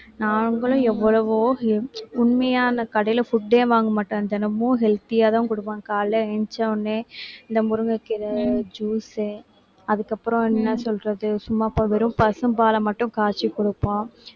நாங்களும் எவ்வளவோ உண்மையா அந்த கடையில food ஏ வாங்க மாட்டேன் தினமும் healthy யாதான் கொடுப்பேன் காலையில எந்திரிச்சா உடனே இந்த முருங்கைக்கீரை juice அதுக்கு அப்புறம் என்ன சொல்றது சும்மா இப்ப வெறும் பசும்பாலை மட்டும் காய்ச்சி கொடுப்போம்